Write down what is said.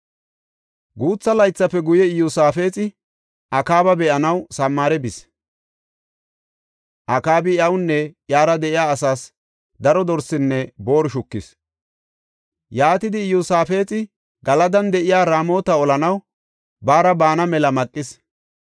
Guutha laythafe guye Iyosaafexi Akaaba be7anaw Samaare bis. Akaabi iyawunne iyara de7iya asaas daro dorsinne booru shukis. Yaatidi Iyosaafexa Galadan de7iya Raamota olanaw baara baana mela maqis.